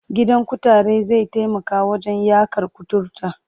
Gidan kutare zai taimaka wajen yaƙar kuturta.